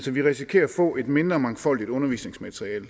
vi risikerer at få et mindre mangfoldigt undervisningsmateriale